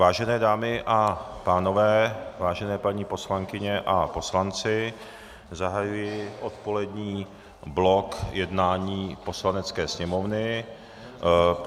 Vážené dámy a pánové, vážené paní poslankyně a poslanci, zahajuji odpolední blok jednání Poslanecké sněmovny.